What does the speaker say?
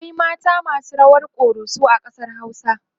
akwai mata masu rawar koroso a ƙasar hausa